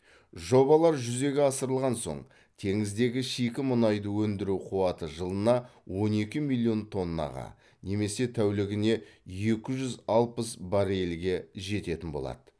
жобалар жүзеге асырылған соң теңіздегі шикі мұнайды өндіру қуаты жылына он екі миллион тоннаға немесе тәулігіне екі жүз алпыс баррельге жететін болады